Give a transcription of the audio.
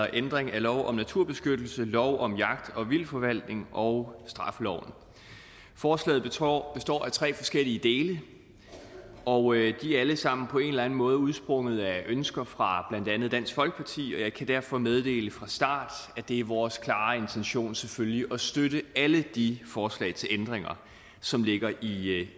ændring af lov om naturbeskyttelse lov om jagt og vildtforvaltning og straffeloven forslaget består af tre forskellige dele og de er alle sammen på en eller anden måde udsprunget af ønsker fra blandt andet dansk folkeparti og jeg kan derfor meddele fra starten at det er vores klare intention selvfølgelig at støtte alle de forslag til ændringer som ligger i